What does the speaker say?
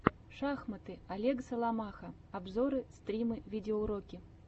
шахматы олег соломаха обзоры стримы видеоуроки